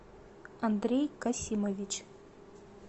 андрей касимович